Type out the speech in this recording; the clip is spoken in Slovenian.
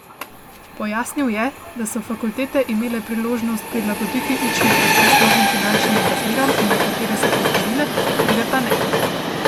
Pojasnil je, da so fakultete imele priložnost prilagoditi učni proces novim finančnim razmeram in nekatere so to storile, druge pa ne.